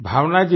भावना जी